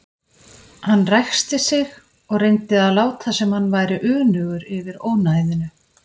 Hann ræskti sig og reyndi að láta sem hann væri önugur yfir ónæðinu.